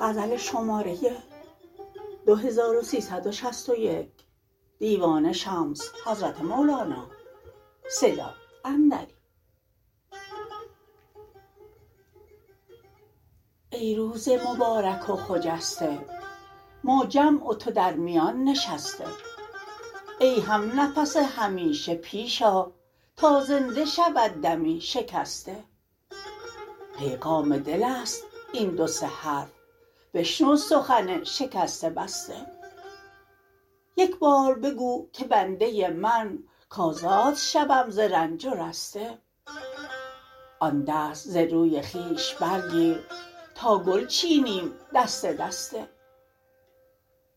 ای روز مبارک و خجسته ما جمع و تو در میان نشسته ای همنفس همیشه پیش آ تا زنده شود دمی شکسته پیغام دل است این دو سه حرف بشنو سخن شکسته بسته یک بار بگو که بنده من کزاد شوم ز رنج و رسته آن دست ز روی خویش برگیر تا گل چینیم دسته دسته